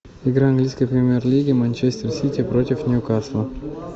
игра английской премьер лиги манчестер сити против ньюкасла